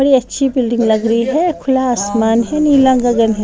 बड़ी अच्छी बिल्डिंग लग रही है खुला आसमान है नीला गगन है।